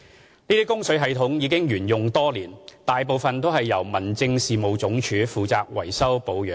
這些供水系統已沿用多年，大部分由民政事務總署負責維修保養。